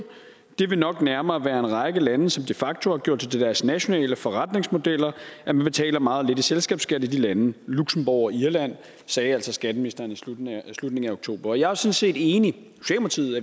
det vil nok nærmere være en række lande som de facto har gjort det til deres nationale forretningsmodeller at man betaler meget lidt i selskabsskat i de lande luxembourg og irland sagde altså skatteministeren i slutningen af oktober jeg er sådan set enig